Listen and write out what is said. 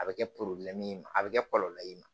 A bɛ kɛ a bɛ kɛ kɔlɔlɔ ye i ma